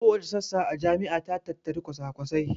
Kowace sassa a jami'a ta tattari kwasakwasai